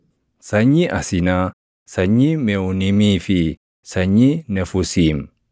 sanyii Asinaa, sanyii Meʼuunimii fi sanyii Nefuusiim;